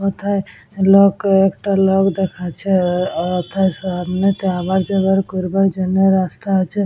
কোথায় লোক একটা লোক দেখাচ্ছে ও অথায় সামনেতে আবার যোগার করবার জন্য রাস্তা আছে।